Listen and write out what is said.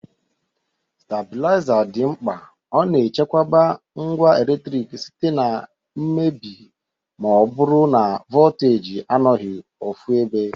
Stabilaiza dị mkpa,ọ na echekwoba ngwa eletrik site na mmebi ma ọ bụrụ na voltaji anọghị ofụebe.